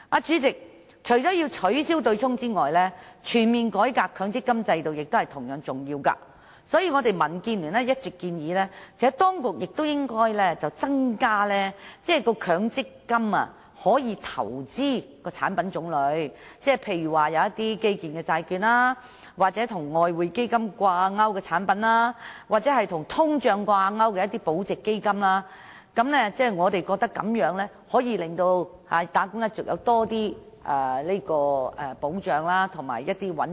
主席，除了取消對沖機制，全面改革強積金制度亦同樣重要，所以民建聯一直建議當局增加強積金可投資的產品種類，例如基建債券、與外匯基金掛鈎的產品，或與通脹掛鈎的保值基金。我們認為，這樣能夠令打工一族獲得較大保障和更穩定的回報。